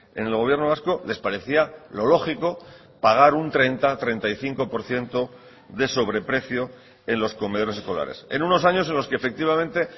en el gobierno vasco les parecía lo lógico pagar un treinta treinta y cinco por ciento de sobreprecio en los comedores escolares en unos años en los que efectivamente